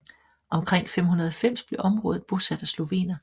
Omkring 590 blev området bosat af slovener